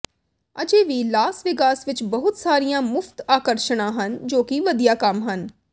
ਅਜੇ ਵੀ Las Vegas ਵਿੱਚ ਬਹੁਤ ਸਾਰੀਆਂ ਮੁਫਤ ਆਕਰਸ਼ਣਾਂ ਹਨ ਜੋ ਕਿ ਵਧੀਆ ਕੰਮ ਹਨ